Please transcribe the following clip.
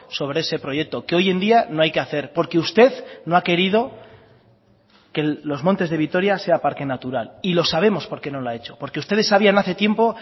sobre ese proyecto que hoy en día no hay que hacer porque usted no ha querido que los montes de vitoria sea parque natural y lo sabemos por qué no lo ha hecho porque ustedes sabían hace tiempo